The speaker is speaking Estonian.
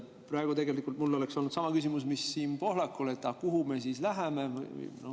Praegu tegelikult oleks mul olnud sama küsimus, mis Siim Pohlakul, et aga kuhu me siis läheme.